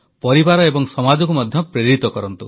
ପରିବାର ଏବଂ ସମାଜକୁ ମଧ୍ୟ ପ୍ରେରିତ କରନ୍ତୁ